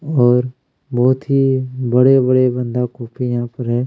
और बहुत ही बड़े-बड़े बंदा गोभी यहाँ पर है।